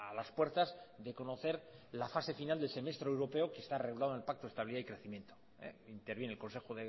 las puertas de conocer la fase final de semestre europeo que está regulado en el pacto de estabilidad y crecimiento intervienen el consejo